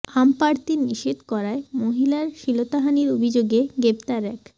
আম পাড়তে নিষেধ করায় মহিলার শ্লীলতাহানির অভিযোগে গ্রেফতার এক